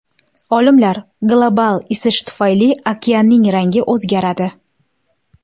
Olimlar: global isish tufayli okeanning rangi o‘zgaradi.